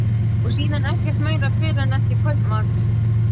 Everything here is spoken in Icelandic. Og síðan ekkert meira fyrr en eftir kvöldmat.